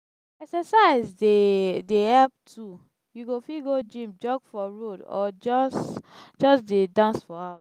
exercise dey dey help too you fit go gym jog for road or just just dey dance for house.